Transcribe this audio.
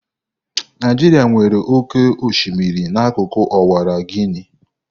Naijiria nwere oke osimiri n'akụkụ Ọwara Guini.